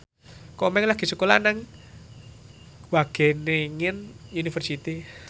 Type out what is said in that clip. Komeng lagi sekolah nang Wageningen University